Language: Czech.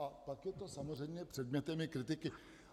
A pak je to samozřejmě i předmětem kritiky.